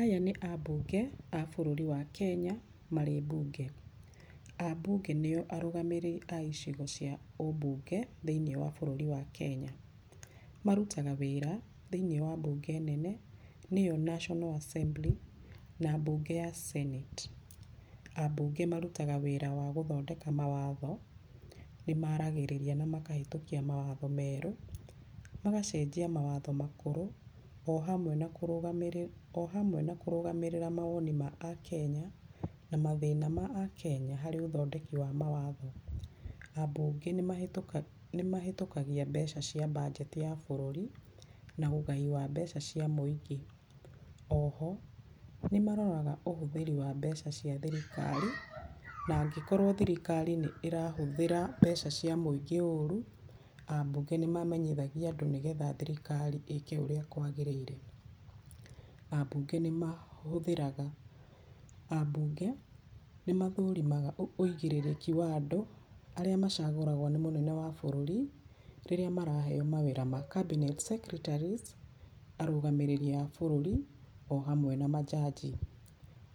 Aya nĩ ambunge a bũruri wa kenya marĩ mbunge. Ambunge nĩo arũgamĩrĩri icigo cia ũmbunge thĩiniĩ wa bũrũri wa kenya. Marutaga wĩra thĩiniĩ wa mbunge nene nĩyo national assembly na mbunge ya Senate . Ambunge marutaga wĩra wa gũthondeka mawatho, nĩ maragĩrĩria na makahetũkia mawatho merũ, magacenjia mawatho makũrũ o hamwe na o hamwe na kũrũgamĩrĩra mawoni ma Akenya na mathĩna ma Akenya hari ũthondeki wa mawatho. Ambunge nĩmahetũkagia mbeca cia budget ya bũrũri, na ũgai wa mbeca ciĩ mũingĩ, oho, nĩmaroraga ũhũthĩri wa mbeca cia thirikari , na angĩkorwo thirikari nĩ ĩrahũthĩra mbeca cia mũingĩ ũru, ambunge nĩ mamenyithagia andũ nĩgetha thirikari ĩke ũrĩa kwagĩrĩire. Ambunge nĩmahũthĩraga, ambunge nĩmathũrimaga ũigĩrĩrĩki wa andũ arĩa macagũragwo nĩ mũnene wa bũrũri rĩrĩa maraheo mawĩra ma cabinet secretaries, arũgamĩrĩri a bũrũri ohamwe na manjanji.